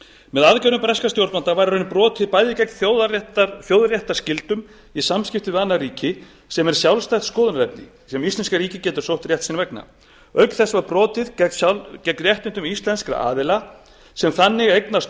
með aðgerðum breskra stjórnvalda var í raun brotið bæði gegn þjóðréttarskyldum í samskiptum við annað ríki sem er sjálfstætt skoðunarefni sem íslenska ríkið getur sótt rétt sinn vegna auk þess var brotið gegn réttindum íslenskra aðila sem þannig eignast